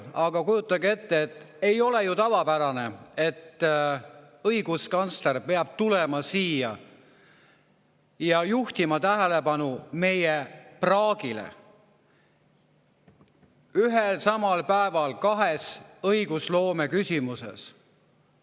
Aga kujutage ette, see ei ole ju tavapärane, et õiguskantsler peab tulema siia ja juhtima ühel ja samal päeval tähelepanu meie praagile kahes õigusloome küsimuses.